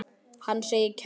Hann segir kæruna ranga.